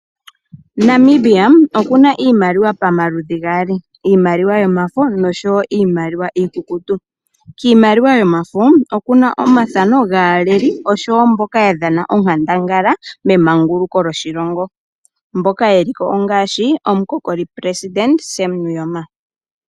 Namibia okuna iimaliwa pamaludhi gaali. Iimaliwa yomafo noshowo iimaliwa iikukutu. Kiimaliwa yomafo okuna omathano gaaleli, oshowo mboka ya dhana onkandangala memanguluko lyoshilongo, mboka yeli ko ngaashi omukokoli presidente Sam Nuuyoma.